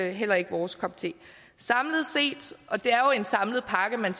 er heller ikke vores kop te samlet set og det er jo en samlet pakke man